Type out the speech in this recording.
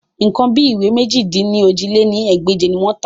Nǹkan bí ìwé mèjì-dín-ní-ojì lé ní ẹgbẹ́je ni wọ́n tà